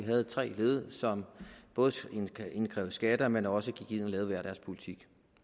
havde tre led som både indkrævede skatter men som også gik ind og lavede hver deres politik